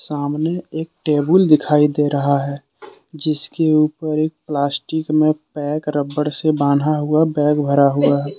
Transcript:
सामने एक टेबुल दिखाई दे रहा है। जिसके ऊपर एक प्लास्टिक में पैक रबड़ से बांधा हुआ बैग धरा हुआ है।